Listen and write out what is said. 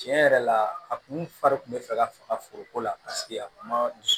Tiɲɛ yɛrɛ la a kun fari kun bɛ fɛ ka foroko la a kun ma